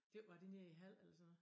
Det var det nede i Hald eller sådan noget